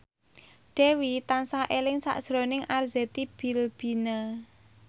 Dewi tansah eling sakjroning Arzetti Bilbina